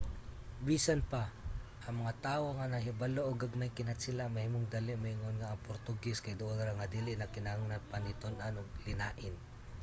bisan pa ang mga tawo nga nahibalo og gamaymg kinatsila mahimong dali moingon nga ang portugese kay duol ra nga dili na kinahanglan pa ni tun-an og linain